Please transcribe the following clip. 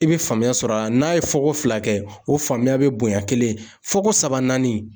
I be faamuya sɔrɔ a la, n'a ye fɔ ko fila kɛ ,o faamuya be bonya kelen ye, fɔ ko saba naani